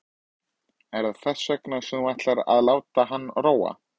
Er það þess vegna sem þú ætlar að láta hana róa?